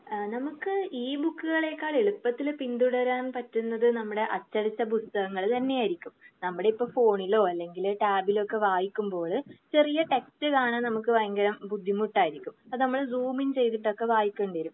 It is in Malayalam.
ഏഹ് നമുക്ക് ഈ ബുക്കുകളെക്കാൾ എളുപ്പത്തിൽ ഫീൽ തരാൻ പറ്റുന്നത് നമ്മുടെ അച്ചടിച്ച പുസ്തകങ്ങൾ തന്നെ ആയിരിക്കും. നമ്മളിപ്പോ ഫോണിലോ അല്ലെങ്കിൽ ടാബിലൊക്കെ വായിക്കുമ്പോഴ് ചെറിയ ടെക്സ്റ്റ്‌ കാണാൻ നമുക്ക് ഭയങ്കര ബുദ്ധിമുട്ടായിരിക്കും. ഇപ്പൊ നമ്മള് റൂമിൻ ഒക്കെ വായിക്കേണ്ടി വരും.